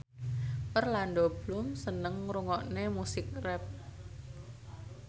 Orlando Bloom seneng ngrungokne musik rap